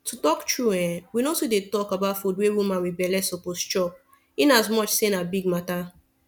to talk tru[um]we no too dey talk about food wey woman wit belle suppose chop in as much say na big mata